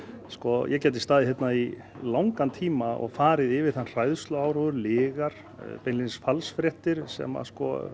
sko ég gæti staðið hérna í langan tíma og farið yfir þann hræðsluáróður lygar beinlínis falsfréttir sem